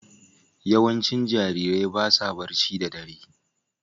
Yawancin jarirai ba sa barci da ɗare